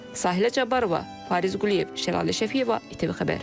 Sahilə Cabbarova, Fariz Quliyev, Şəlalə Şəfiyeva, İTV Xəbər.